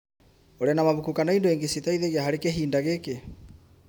ũrĩ na mabuku kana indo ingĩ citeithagia harĩ kĩhinda gĩkĩ>